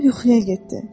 O yuxuya getdi.